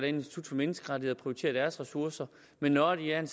institut for menneskerettigheder prioriterer deres ressourcer men når de er